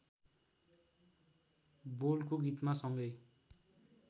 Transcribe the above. बोलको गीतमा सँगै